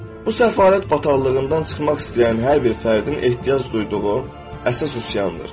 Bu səfalət bataqlığından çıxmaq istəyən hər bir fərdin ehtiyac duyduğu əsas üsyandır.